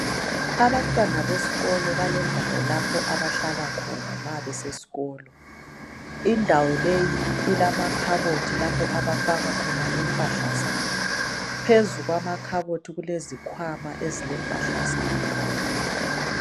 Abanywana besikolo balendawo lapho abahlala khona mabesesikolo indawo le ilamakhabothi lapho abafaka khona impahla zabo phezu kwamakhabothi kulezikhwama ezilempahla zabo